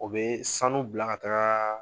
U be sanu bila ka taa